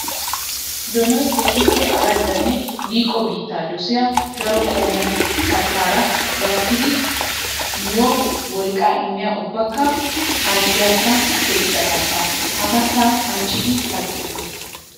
Donoy keehippe araddanne liiqo biitta dosiya daro qommo kattara gattiddi miyo wolqqa immiya ubbakka harggiyakka teqqiya katta. Ha kattay ancciddi kattetes.